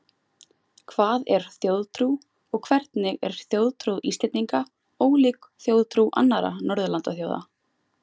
Hvað er þjóðtrú og hvernig er þjóðtrú Íslendinga ólík þjóðtrú annarra Norðurlandaþjóða?